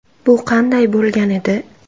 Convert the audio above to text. Bu qanday bo‘lgan edi?.